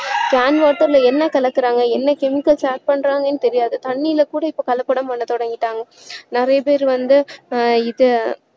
can water ல என்ன கலக்குறாங்க என்ன chemicals add பண்றாங்கன்னு தெரியாது தண்ணீர்ல கூட இப்போ கலப்படம் பண்ண தொடங்கிட்டாங்க நிறைய பேர் வந்து ஆஹ் இதை